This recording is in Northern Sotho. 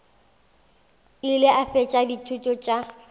ile a fetša dithuto tša